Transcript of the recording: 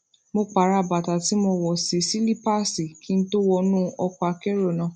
mo pààrọ bàtà tí mo wọ sí sílípáàsì kí n tó wọnú ọkọakérò náà